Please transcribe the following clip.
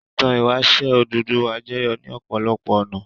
Ìtàn ìwáṣẹ̀ Odùduwà jẹyọ ní ọ̀pọ̀lọpọ̀ ọ̀nà.